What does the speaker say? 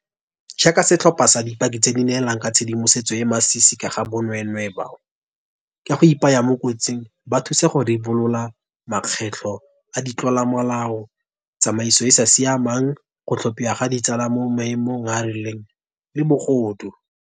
Jaaka setlhopha sa dipaki tse di neelang ka tshedimosetso e e masisi ka ga bonweenwee bao, ka go ipaya mo kotsing, ba thusang go ribolola makgetlo a di tlolomolao, tsamaiso e e sa siamang, go thapiwa ga ditsala mo maemong a a rileng le bogodu.